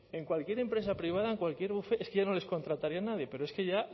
en cualquier empresa privada en cualquier bufete es que ya no les contrataría nadie pero es que ya